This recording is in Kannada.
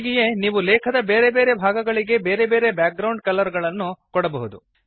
ಹೀಗೆಯೇ ನೀವು ಲೇಖದ ಬೇರೆ ಬೇರೆ ಭಾಗಗಳಿಗೆ ಬೇರೆ ಬೇರೆ ಬ್ಯಾಕ್ ಗ್ರೌಂಡ್ ಬಣ್ಣಗಳನ್ನು ಕೊಡಬಹುದು